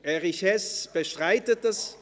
– Erich Hess bestreitet es.